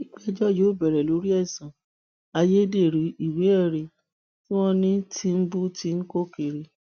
ìgbẹjọ yóò bẹrẹ lórí ẹsùn ayédèrú ìwéẹrí tí wọn ní tìǹbù ń kó kiri